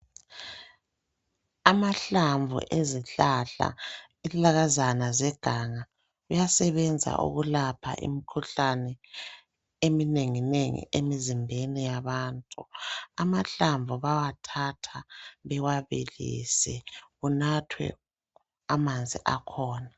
Amahlamvu ezihlahla, izihlahlakazana zeganga kuyasebenza ukulapha imikhuhlane eminenginengi emizimbeni yabantu. Amahlamvu bawathatha bewabilise kunathwe amanzi akhona.